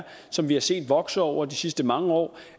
som vi har set vokse over de sidste mange år